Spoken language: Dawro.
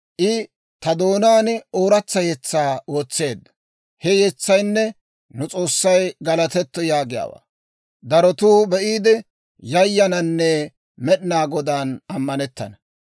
I ta doonaan ooratsa yetsaa wotseedda; he yetsaynne, «Nu S'oossay galatetto» yaagiyaawaa. Darotuu be'iide, yayananne Med'inaa Godan ammanettana.